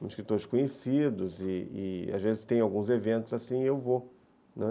com escritores conhecidos, e e às vezes tem alguns eventos assim e eu vou.